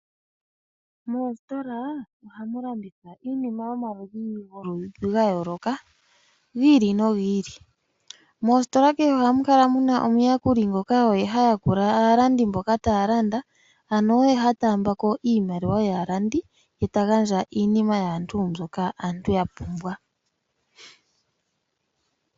Moositola ohamu landithwa iinima yomaludhi ga yooloka gi ili nogi ili. Moositola kehe ohamu adhika omuyakuli ngoka oye ha yakula aalandi mboka taya landa, ano oye ha taamba ko iimaliwa yaalandi ye ta gandja iinima yaantu mbyoka aantu ya pumbwa.